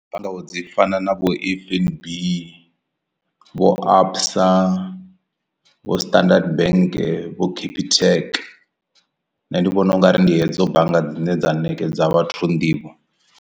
Bannga vho dzi fana na vho F_N_B vho absa vho standard bank vho capitec nṋe ndi vhona ungari ndi hedzo bannga dzine dza ṋekedza vhathu nḓivho.